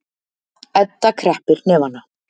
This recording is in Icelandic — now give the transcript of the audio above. Edda kreppir hnefana.